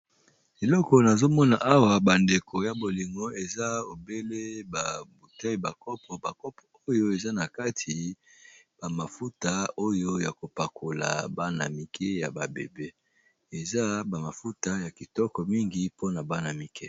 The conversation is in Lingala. Eloko nazomona awa bandeko babolingo eza obele bakopo nakati eza ba mafuta ya kopakola eza ya kitoko penza